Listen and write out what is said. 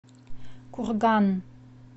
курган